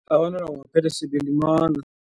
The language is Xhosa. Abantwana kungaphethe sebelimala.